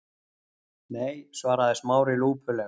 Nei- svaraði Smári lúpulega.